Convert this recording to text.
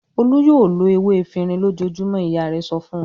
"Olú yóò lo ewé efirin lójoojúmọ́!" Ìyá rẹ̀ sọ fún wọn.